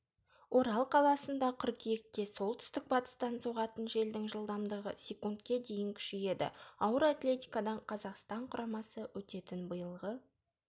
орал қаласында қыркүйекте солтүстік-батыстан соғатын желдің жылдамдығы с-ке дейін күшейеді ауыр атлетикадан қазақстан құрамасы өтетін биылғы